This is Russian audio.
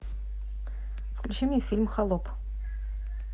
включи мне фильм холоп